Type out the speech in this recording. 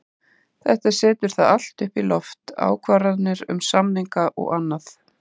Þetta setur það allt upp í loft, ákvarðanir um samninga og annað.